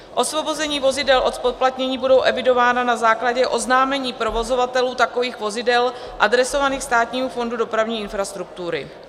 Osvobození vozidel od zpoplatnění budou evidována na základě oznámení provozovatelů takových vozidel adresovaných Státnímu fondu dopravní infrastruktury.